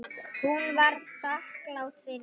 Hún var þakklát fyrir það.